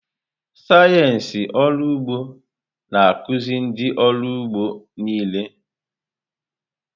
Sayensị ọrụ ụgbọ na-akụzi ụdị ọrụ ugbo niile.